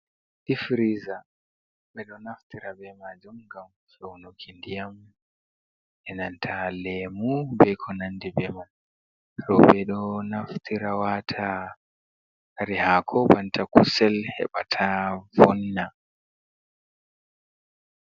Dif firiza ɓeɗo naftira be majum ngam feunuki ndiyam, enanta lemu, be ko nandi be man, roɓɓe ɗo naftira wata kare hako banta kusel heɓa ta vonna.